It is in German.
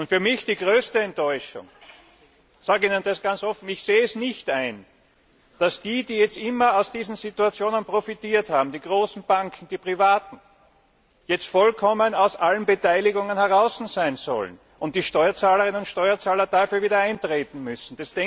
Für mich die größte Enttäuschung, ich sage Ihnen das ganz offen Ich sehe es nicht ein, dass die, die immer aus diesen Situationen profitiert haben die großen Banken, die Privaten jetzt vollkommen aus allen Beteiligungen herausgenommen sein sollen und die Steuerzahlerinnen und Steuerzahler dafür wieder eintreten müssen.